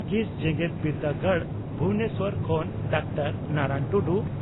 ᱠᱤᱥ ᱡᱮᱜᱮᱛ ᱵᱤᱨᱫᱟᱹᱜᱟᱲ ᱵᱷᱩᱵᱚᱱᱮᱥᱚᱨ ᱠᱷᱚᱱ ᱰᱟᱠᱛᱟᱨ ᱱᱟᱨᱟᱱ ᱴᱩᱰᱩ